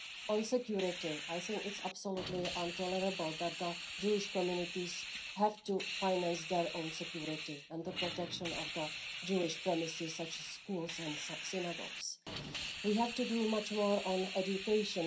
On security, I think it is absolutely intolerable that the Jewish communities have to finance their own security and the protection of Jewish premises, such as schools and synagogues. We have to do much more on education.